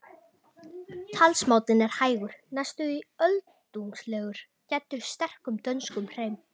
Talsmátinn er hægur, næstum því öldungslegur, gæddur sterkum dönskum hreim.